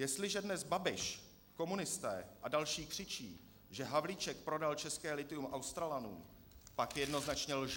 Jestliže dnes Babiš, komunisté a další křičí, že Havlíček prodal české lithium Australanům, pak jednoznačně lže!